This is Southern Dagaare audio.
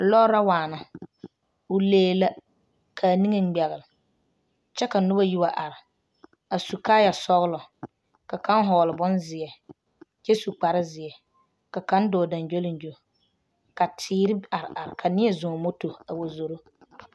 Lɔɔre la waana o lee la k,a niŋe ŋmɛgle kyɛ ka noba yi wa are a su kaayasɔglɔ ka kaŋ hɔgle bonzeɛ kyɛ su kparzeɛ ka kaŋ dɔɔ gyoŋgyoligyo ka teere are are ka neɛ zɔŋ moto a wa zoro.